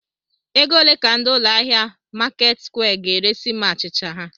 Ego ole ka ndị ụlọ ahịa Marketsquare ga-eresi m achịcha ha?.